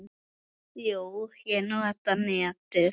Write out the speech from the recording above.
Jú, ég nota netið.